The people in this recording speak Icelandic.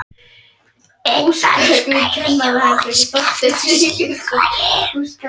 Einn dansar við kústskaft og syngur um